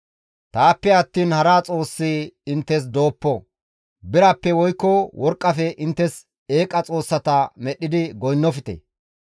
Taappe attiin hara xoossi inttes dooppo; birappe woykko worqqafe inttes eeqa xoossata medhdhidi goynnofte.